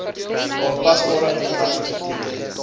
aanpasbare uitleg beteken